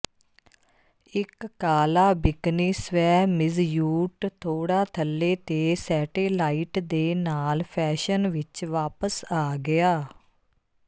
ਇੱਕ ਕਾਲਾ bikini swimsuit ਥੋੜਾ ਥੱਲੇ ਤੇ ਸੈਟੇਲਾਈਟ ਦੇ ਨਾਲ ਫੈਸ਼ਨ ਵਿੱਚ ਵਾਪਸ ਆ ਗਿਆ